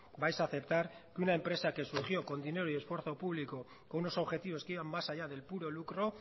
vais a aceptar que una empresa que surgió con dinero y esfuerzo público con unos objetivos que iban más allá del puro lucro